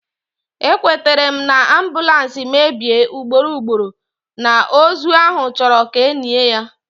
Ekwetere na, ambulance mebie ugboro ugboro, na ozu ahụ achọrọ ka enie ya